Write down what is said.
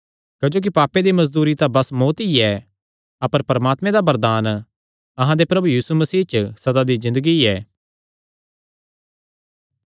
क्जोकि पापे दी मजदूरी तां बस मौत्त ई ऐ अपर परमात्मे दा वरदान अहां दे प्रभु यीशु मसीह च सदा दी ज़िन्दगी ऐ